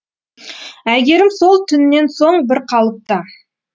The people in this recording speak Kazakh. әйгерім сол түннен соң бір қалыпта